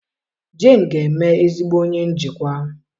Jane ga-eme ezigbo onye njikwa